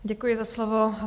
Děkuji za slovo.